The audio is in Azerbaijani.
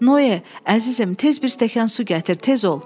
Noye, əzizim, tez bir stəkan su gətir, tez ol!